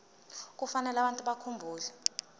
kufanele abantu bakhumbule